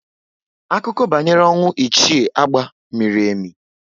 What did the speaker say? Akụkọ banyere ọnwụ Ichie Agba miri emi